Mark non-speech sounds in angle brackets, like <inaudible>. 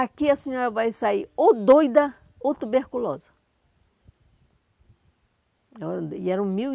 Aqui a senhora vai sair ou doida ou tuberculosa. <unintelligible> e eram mil